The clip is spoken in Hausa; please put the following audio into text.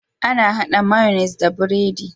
Ana hada mayonnaise da biredi